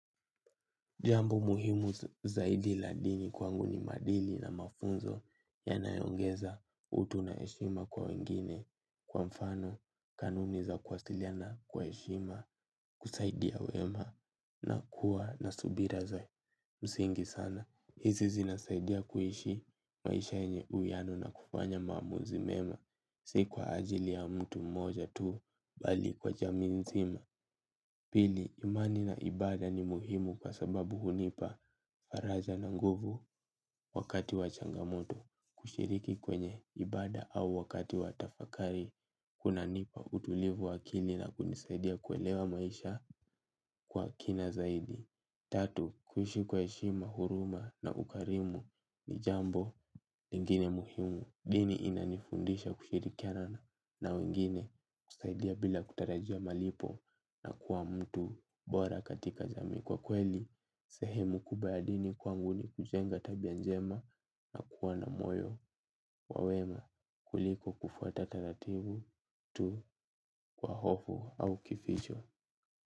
Jambo muhimu zaidi ladini kwanguni maadili na mafunzo ya nayoongeza utu na heshima kwa wengine kwa mfano kanuni za kuwasiliana kwa heshima kusaidia wema na kuwa nasubira za msingi sana. Hizi zinasaidia kuishi maisha yenye uwiyano na kufanya maamuzimema. Sikwa ajili ya mtu mmoja tuu bali kwa jamiinzima. Pili imani na ibada ni muhimu kwa sababu hunipa faraja na nguvu wakati wa changamoto kushiriki kwenye ibada au wakati wa tafakari kuna nipa utulivu wakili na kunisaidia kuelewa maisha kwa kina zaidi. Tatu, kuishi kwa heshima, huruma na ukarimu ni jambo ingine muhimu, dini inanifundisha kushirikiana na wengine kusaidia bila kutarajia malipo na kuwa mtu bora katika jamii kwa kweli, sehemu kubwaya dini kwa nguni kujenga tabianjema na kuwa na moyo wawema kuliko kufuata taratibu tu kwa hofu au kificho.